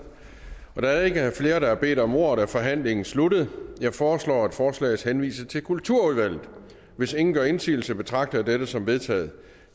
da der ikke er flere der har bedt om ordet er forhandlingen sluttet jeg foreslår at forslaget henvises til kulturudvalget hvis ingen gør indsigelse betragter jeg dette som vedtaget